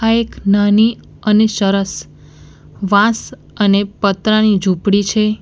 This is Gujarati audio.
એક નાની અને સરસ વાંસ અને પતરાની ઝૂંપડી છે.